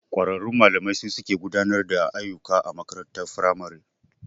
Kwararrun malamai su suke gudanar da ayyuka a makarantar firamare.